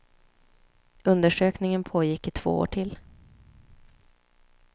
Undersökningen pågår i två år till.